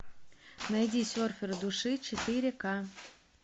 найди серфер души четыре ка